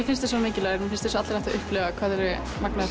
finnst þeir svo mikilvægir mér finnst að allir ættu að upplifa hvað þeir eru magnaðir